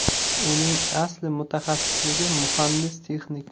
Uning asli mutaxassisligi muhandis-texnik.